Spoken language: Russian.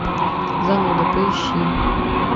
зануда поищи